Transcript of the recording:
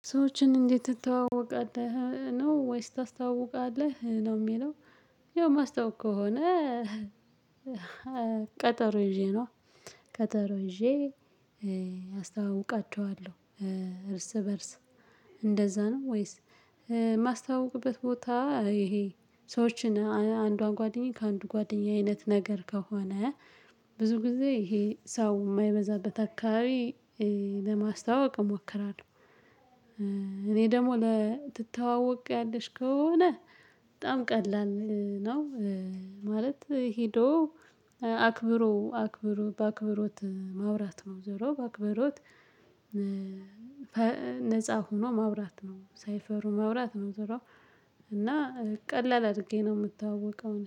ሰዎችን እንዴት ትተዋወቃለህ ነው ወይስ ታስተዋውቃለህ ነው የሚለው? ያው ማስተዋውቅ ከሆነ ቀጠሮ ይዤ ነዋ። ቀጠሮ ይዤ አስተዋውቃችኋለሁ። እርስ በእርስ እንደዛ ነው ወይስ? የማስተዋውቅበት ቦታ ይሄ ሰዎችን አንዷን ጓደኛዬ ከአንዱ ጓደኛዬ አይነት ነገር ከሆነ ብዙ ጊዜ ይሄ ሰው የማይበዛበት አካባቢ ለማስተዋወቅ እሞክራለሁ። እኔ ደግሞ ለትተዋወቂያለሽ ከሆነ በጣም ቀላል ነው። ማለት ሄዶ አክብሮ አክብሮ በአክብሮት ማውራት ነው። ዞሮ በአክብሮት ነፃ ሆኖ ማውራት ነው። ሳይፈሩ ማውራት ነው። ዞሮ እና ቀላል አድርጌ ነው የምታወቀው